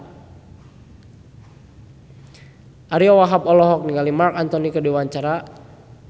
Ariyo Wahab olohok ningali Marc Anthony keur diwawancara